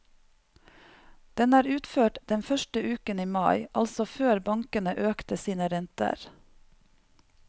Den er utført den første uken i mai, altså før bankene økte sine renter.